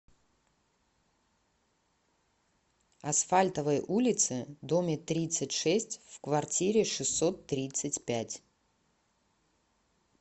асфальтовой улице доме тридцать шесть в квартире шестьсот тридцать пять